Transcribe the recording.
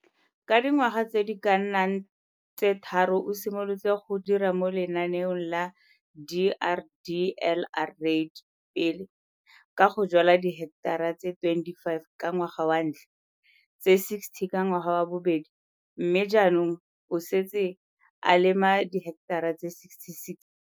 Ka dingwaga tse di ka nnang tse tharo o simolotse go dira mo lenaneong la DRDLR REID - pele ka go jwala diheketara tse 25 ka ngwaga wa ntlha, tse 60 ka ngwaga wa bobedi mme jaanong o setse a lema diheketara tse 66.